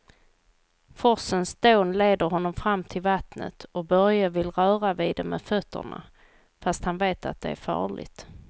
Forsens dån leder honom fram till vattnet och Börje vill röra vid det med fötterna, fast han vet att det är farligt.